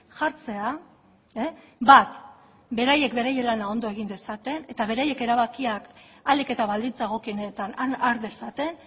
jartzea bat beraiek bere lana egin dezaten eta beraiek erabakiak ahalik eta baldintza egokienetan har dezaten